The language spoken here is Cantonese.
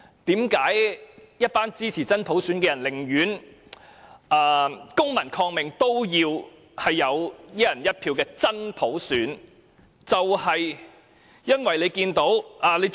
為何一群支持真普選的人寧願公民抗命，都要爭取"一人一票"的真普選，就是因為看到......